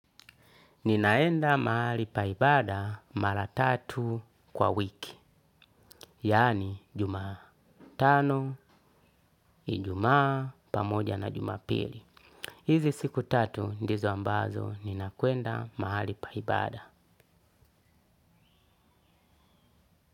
Ninaenda mahali pa ibaada mara tatu kwa wiki. Yani jumatano, ijumaa, pamoja na jumapili. Hizi siku tatu ndizo ambazo ninakwenda mahali pa ibaada.